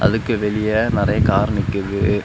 அதுக்கு வெளியே நெறைய கார் நிக்குது.